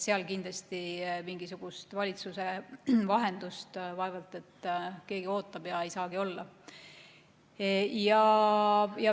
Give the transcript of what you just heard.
Selles asjas mingisugust valitsuse vahendust vaevalt et keegi ootab ja seda ei saagi olla.